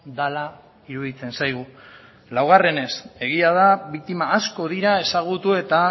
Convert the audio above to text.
dela iruditzen zaigu laugarrenez egia da biktima asko dira ezagutu eta